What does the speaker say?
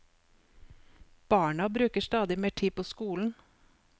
Barna bruker stadig mer tid på skolen.